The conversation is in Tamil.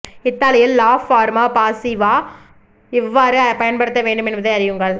இத்தாலியில் லா ஃபார்மா பாசிவா எவ்வாறு பயன்படுத்த வேண்டும் என்பதை அறியுங்கள்